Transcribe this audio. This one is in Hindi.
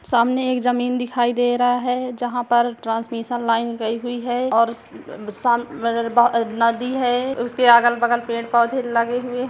सामने एक जमीन दिखाई दे रहा हैं जहाँ पर ट्रांसमिसिन लाइन गई हुई है और उस स अ नदी है उसके अगल-बगल पेड़-पौधे लगे हुए--